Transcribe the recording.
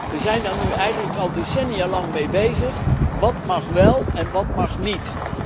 We zijn daar nu eigenlijk al decennia lang mee bezig wat mag wel en wat mag niet?